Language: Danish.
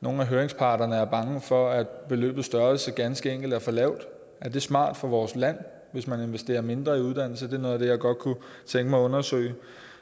nogle af høringsparterne er bange for at beløbets størrelse ganske enkelt er for lavt er det smart for vores land hvis man investerer mindre i uddannelse det er noget af det jeg godt kunne tænke mig at undersøge